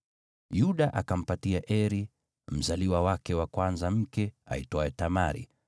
Yuda akampatia Eri, mzaliwa wake wa kwanza, mke aitwaye Tamari.